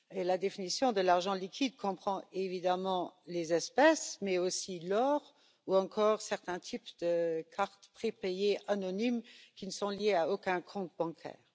La définition de l'argent liquide comprend évidemment les espèces, mais aussi l'or ou encore certains types de cartes prépayées anonymes qui ne sont liées à aucun compte bancaire.